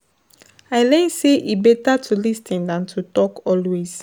I learn say e better to lis ten than to talk always.